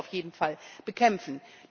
Das müssen wir auf jeden Fall bekämpfen.